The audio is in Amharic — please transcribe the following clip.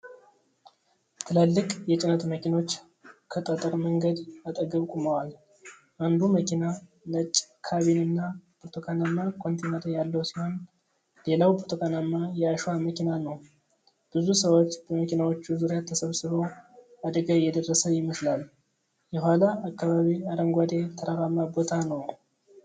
ትላልቅ የጭነት መኪኖች ከጠጠር መንገድ አጠገብ ቆመዋል። አንዱ መኪና ነጭ ካቢን እና ብርቱካናማ ኮንቴይነር ያለው ሲሆን፣ ሌላው ብርቱካናማ የአሸዋ መኪና ነው። ብዙ ሰዎች በመኪናዎቹ ዙሪያ ተሰብስበው አደጋ የደረሰ ይመስላል። የኋላ ከባቢ አረንጓዴ ተራራማ ቦታ ነው።